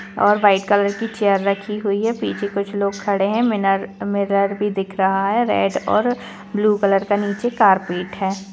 और white colour की chair रखी हुई है पीछे कुछ लोग खड़े है और मिनर मिरर भी दिख रहा है रेड और ब्लू कॉलर का कारपेट है।